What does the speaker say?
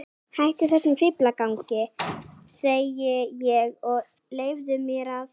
Hættu þessum fíflagangi, segi ég, og leyfðu mér að.